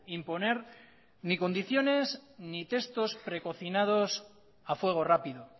imponer ni condiciones ni textos precocinados a fuego rápido